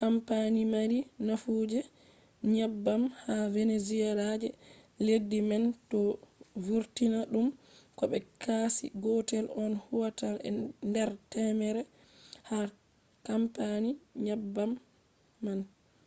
kampani mari nafu je nyebbam ha venezuela je leddi man do vurtina dum ko be kashi gotel on huwata nder temere ha kampani nyebbam man